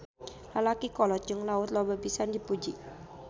Lalaki kolot jeung Laut loba pisan dipuji.